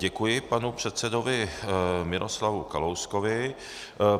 Děkuji panu předsedovi Miroslavu Kalouskovi.